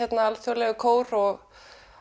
alþjóðlegur kór og